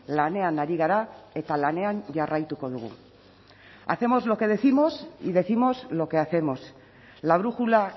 lanean ari gara eta lanean jarraituko dugu hacemos lo que décimos y décimos lo que hacemos la brújula